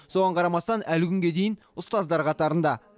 соған қарамастан әлі күнге дейін ұстаздар қатарында